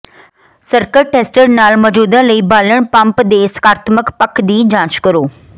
circuit tester ਨਾਲ ਮੌਜੂਦਾ ਲਈ ਬਾਲਣ ਪੰਪ ਦੇ ਸਕਾਰਾਤਮਕ ਪੱਖ ਦੀ ਜਾਂਚ ਕਰੋ